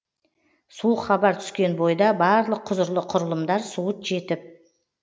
суық хабар түскен бойда барлық құзырлы құрылымдар суыт жетіп